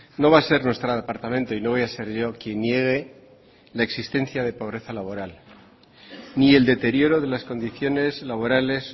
no va a ser nuestro departamento y no voy a ser yo quien niegue la existencia de pobreza laboral ni el deterioro de las condiciones laborales